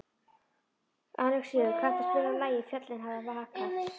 Alexíus, kanntu að spila lagið „Fjöllin hafa vakað“?